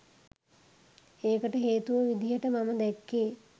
ඒකට හේතුව විදිහට මම දැක්කේ